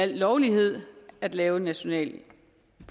lovligt at lave et nationalt